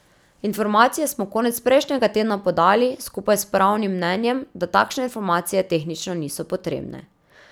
Informacije smo konec prejšnjega tedna podali, skupaj s pravnim mnenjem, da takšne informacije tehnično niso potrebne.